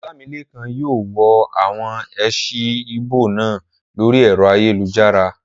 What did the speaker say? Olamilekan yóò wo àwọn èsì ìbò náà lórí ẹ̀rọ ayélujára